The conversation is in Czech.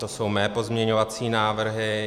To jsou mé pozměňovací návrhy.